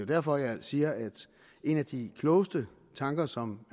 derfor jeg siger at en af de klogeste tanker som